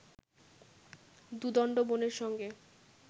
দু-দণ্ড বোনের সঙ্গে